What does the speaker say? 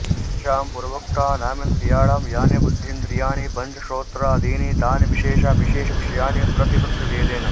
तेषां पूर्वोक्तानामिन्द्रियाणां यानि बुद्धीन्द्रियाणि पञ्च श्रोत्रादीनि तानि विशेषाविशेषविषयाणि प्रतिपत्तृभेदेन